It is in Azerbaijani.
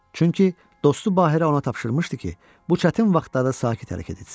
Çünki dostu Bahirə ona tapşırmışdı ki, bu çətin vaxtlarda sakit hərəkət etsin.